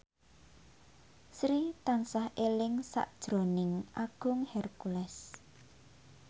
Sri tansah eling sakjroning Agung Hercules